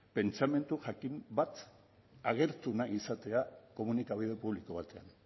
pentsamendu jakin bat agertu nahi izatea komunikabide publiko batean